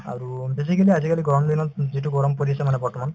আৰু basically আজিকালি গৰম দিনত যিটো গৰম পৰিছে মানে বৰ্তমান